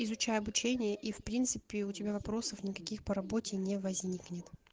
изучай обучение и в принципе у тебя вопросов никаких по работе не возникнет